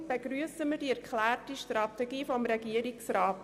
Deshalb begrüssen wir die erklärte Strategie des Regierungsrats.